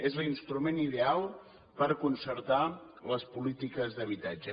és l’instrument ideal per concertar les polítiques d’habitatge